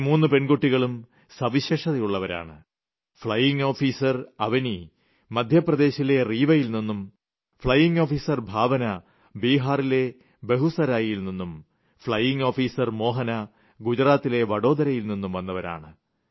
ഈ മൂന്ന് പെൺകുട്ടികളും സവിശേഷതയുളളവരാണ് ഫ്ളയിംഗ് ഓഫീസർ അവനി മധ്യപ്രദേശിലെ റീവയിൽ നിന്നും ഫ്ളയിംഗ് ഓഫീസർ ഭാവന ബിഹാറിലെ ബേഗുസരായ് യിൽ നിന്നും ഫ്ളയിംഗ് ഓഫീസർ മോഹന ഗുജറാത്തിലെ വഡോദരയിൽ നിന്നും വന്നവരാണ്